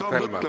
Aitäh!